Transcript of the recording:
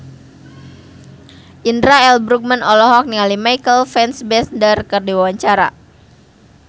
Indra L. Bruggman olohok ningali Michael Fassbender keur diwawancara